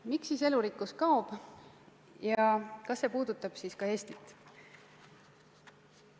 Miks siis elurikkus kaob ja kas see puudutab ka Eestit?